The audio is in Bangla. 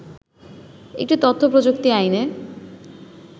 একটি তথ্য প্রযুক্তি আইনে